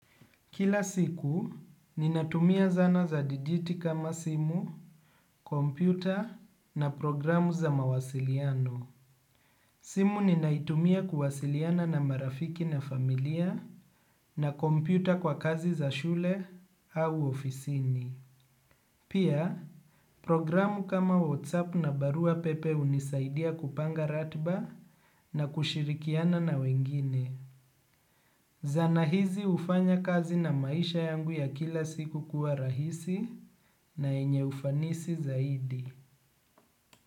Kila siku, ninatumia zana za digitali kama simu, kompyuta na programu za mawasiliano. Simu ninaitumia kuwasiliana na marafiki na familia na kompyuta kwa kazi za shule au ofisini. Pia, programu kama WhatsApp na barua pepe hunisaidia kupanga ratiba na kushirikiana na wengine. Zana hizi hufanya kazi na maisha yangu ya kila siku kuwa rahisi na yenye ufanisi zaidi.